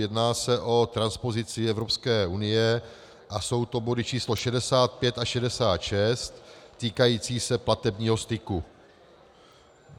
Jedná se o transpozici Evropské unie a jsou to body číslo 65 a 66 týkající se platebního styku.